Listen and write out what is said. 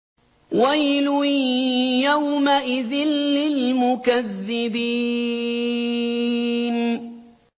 وَيْلٌ يَوْمَئِذٍ لِّلْمُكَذِّبِينَ